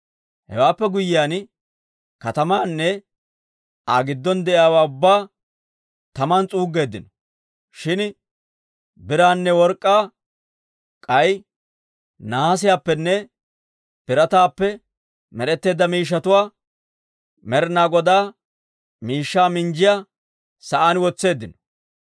Hewaappe guyyiyaan katamaanne Aa giddon de'iyaawaa ubbaa taman s'uuggeeddino; shin biraanne work'k'aa k'ay nahaasiyaappenne birataappe med'etteedda miishshatuwaa Med'ina Godaa miishshaa minjjiyaa sa'aan wotseeddino.